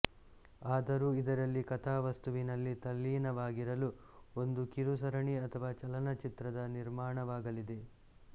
ಆದರೂ ಇದರ ಕಥಾವಸ್ತುವಿನಲ್ಲಿ ತಲ್ಲಿನವಾಗಿರಲು ಒಂದು ಕಿರುಸರಣಿ ಅಥವಾ ಚಲನಚಿತ್ರದ ನಿರ್ಮಾಣವಾಗಲಿದೆ